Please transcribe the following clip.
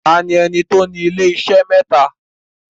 Taani ẹni tí o ní ilé-isé mẹ́tà?